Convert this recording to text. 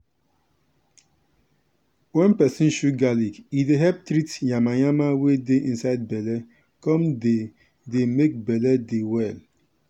wen peson chew garlic e dey help treat yanmayanma wey dey inside belle come dey dey make belle dey well.